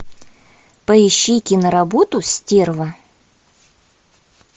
поищи кино работу стерва